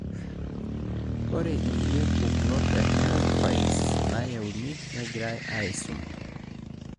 ore inkulie pukunot e herapies nayieuni negirai aisum.